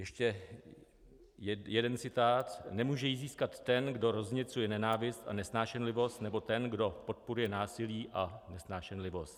Ještě jeden citát: "Nemůže ji získat ten, kdo rozněcuje nenávist a nesnášenlivost, nebo ten, kdo podporuje násilí a nesnášenlivost."